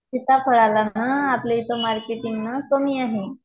सिताफळाला ना आपल्या इथे मार्केटिंगना कमी आहे.